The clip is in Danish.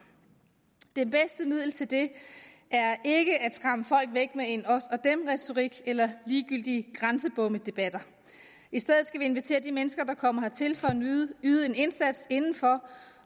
det bedste middel til det er ikke at skræmme folk væk med en os og dem retorik eller ligegyldige grænsebommedebatter i stedet skal vi invitere de mennesker der kommer hertil for at yde en indsats indenfor